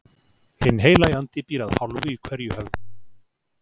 Hinn Heilagi Andi býr að hálfu í hverju höfði, byrjaði